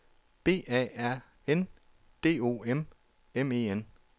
B A R N D O M M E N